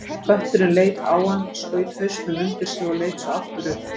Kötturinn leit á hann, skaut hausnum undir sig og leit svo aftur upp.